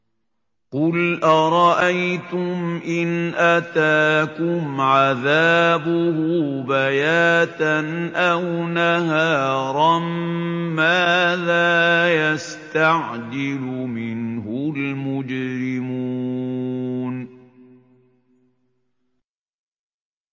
قُلْ أَرَأَيْتُمْ إِنْ أَتَاكُمْ عَذَابُهُ بَيَاتًا أَوْ نَهَارًا مَّاذَا يَسْتَعْجِلُ مِنْهُ الْمُجْرِمُونَ